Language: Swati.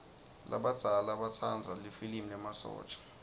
labadzala batsanza lifilimi lemasotja